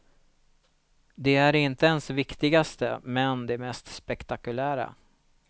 De är inte ens viktigast men det mest spektakulära.